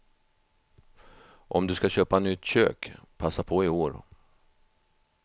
Om du ska köpa nytt kök, passa på i år.